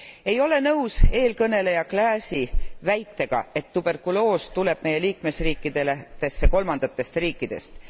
Ei ole nõus eelkõneleja Claeysi väitega, et tuberkuloos tuleb meie liikmesriikidesse kolmandatest riikidest.